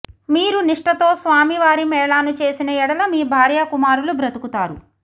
మీరు నిష్టతో స్వామీ వారి మేళాను చేసిన యెడల మీ భార్యా కుమారులు బ్రతుకుతారు